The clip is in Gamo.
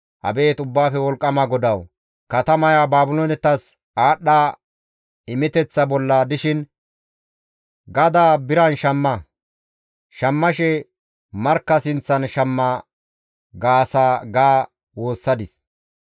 Abeet Ubbaafe Wolqqama GODAWU! Katamaya Baabiloonetas aadhdha imeteththa bolla dishin, ‹Gadaa biran shamma; shammashe markka sinththan shamma› gaasa» ga woossadis.